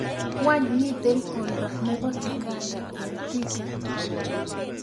Wany miten oldo nebo kiganda en thika